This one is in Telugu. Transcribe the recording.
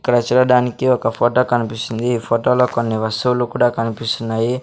ఇక్కడ చూడడానికి ఒక ఫోటో కనిపిస్తుంది ఈ ఫోటోలో కొన్ని వస్తువులు కూడా కనిపిస్తున్నాయి.